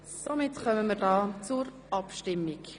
Wir kommen zu den Abstimmungen.